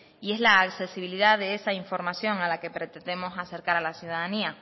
y es la accesibilidad de esa información a la que pretendemos acercar a la ciudadanía